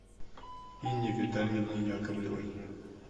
инне витальевне яковлевой